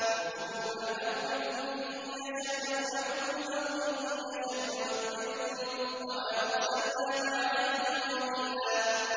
رَّبُّكُمْ أَعْلَمُ بِكُمْ ۖ إِن يَشَأْ يَرْحَمْكُمْ أَوْ إِن يَشَأْ يُعَذِّبْكُمْ ۚ وَمَا أَرْسَلْنَاكَ عَلَيْهِمْ وَكِيلًا